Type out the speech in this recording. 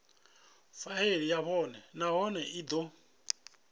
faili yavho nahone i do